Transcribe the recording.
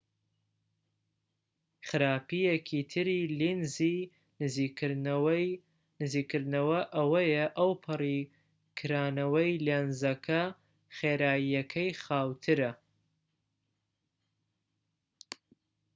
خراپیەکی تری لێنزی نزیککردنەوە ئەوەیە ئەوپەڕی کرانەوەی لێنزەکە خێراییەکەی خاووترە